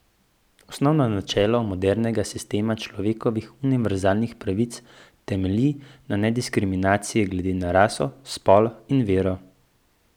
Osnovno načelo modernega sistema človekovih univerzalnih pravic temelji na nediskriminaciji glede na raso, spol in vero.